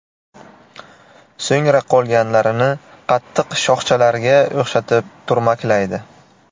So‘ngra qolganlarini qattiq shoxchalarga o‘xshatib turmaklaydi.